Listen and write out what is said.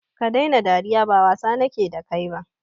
Stop laughing, I don't intend to joke with you